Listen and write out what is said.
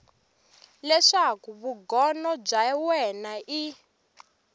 leswaku vugono bya wena i